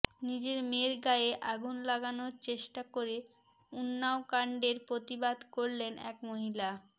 নিজের মেয়ের গায়ে আগুন লাগানোর চেষ্টা করে উন্নাও কান্ডের প্রতিবাদ করলেন এক মহিলা